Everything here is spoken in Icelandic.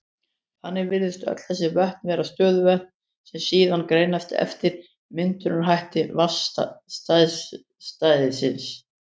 Þannig virðast öll þessi vötn vera stöðuvötn, sem síðan greinast eftir myndunarhætti vatnsstæðisins.